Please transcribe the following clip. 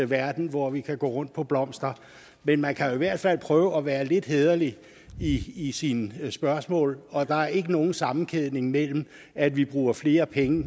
verden hvor vi kan gå rundt på blomster men man kan jo i hvert fald prøve at være lidt hæderlig i i sine spørgsmål og der er ikke nogen sammenkædning mellem at vi bruger flere penge